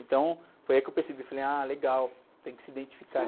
Então foi aí que eu percebi, falei, ah, legal, tem que se identificar.